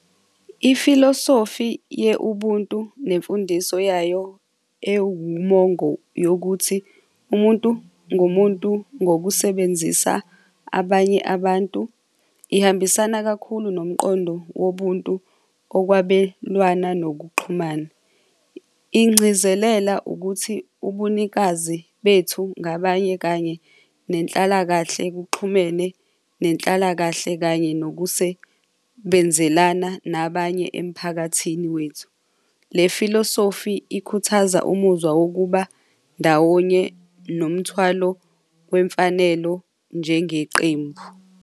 Ifilosofi ye-ubuntu nemfundiso yayo ewumomo yokuthi umuntu ngumuntu ngokusebenzisa abanye abantu, ihambisana kakhulu nomqondo wobuntu okwabelwana nokuxhumana, ingcizelela ukuthi ubunikazi bethu ngabanye kanye nenhlalakahle kuxhumene nenhlalakahle kanye nokusebenzelana nabanye emphakathini wethu. Le filosofi ikhuthaza umuzwa wokuba ndawonye nomthwalo wemfanelo njengeqembu.